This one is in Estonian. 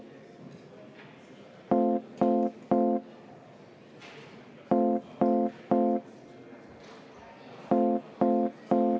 V a h e a e g